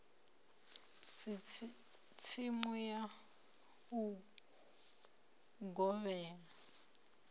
si tsimu ya u gobela